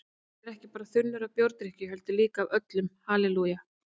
Ég er ekki bara þunnur af bjórdrykkju heldur líka öllum halelúja